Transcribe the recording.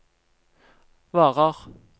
varer